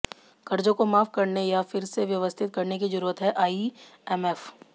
क़र्ज़ों को माफ़ करने या फिर से व्यवस्थित करने की ज़रूरत हैः आईएमएफ़